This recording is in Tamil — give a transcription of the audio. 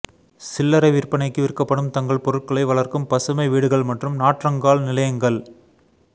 சில்லறை விற்பனைக்கு விற்கப்படும் தங்கள் பொருட்களை வளர்க்கும் பசுமை வீடுகள் மற்றும் நாற்றங்கால் நிலையங்கள்